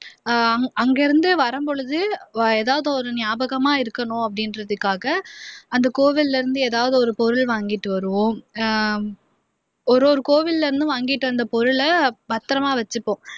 அஹ் அங்கேஇருந்து வரும்பொழுது ஏதாவது ஒரு நியாபகமா இருக்கணும் அப்படின்றதுக்காக அந்த கோவில்ல இருந்து எதாவது ஒரு பொருள் வாங்கிட்டு வருவோம் அஹ் ஒரொரு கோவில்ல இருந்தும் வாங்கிட்டு வந்த பத்திரமா வச்சுப்போம்